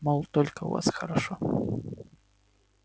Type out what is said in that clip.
мол только у вас хорошо